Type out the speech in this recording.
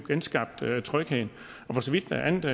genskabt trygheden for så vidt angår